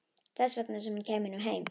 Þess vegna sem hún kæmi nú heim.